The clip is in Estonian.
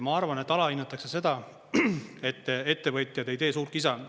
Ma arvan, et alahinnatakse seda, et ettevõtjad ei tee suurt kisa.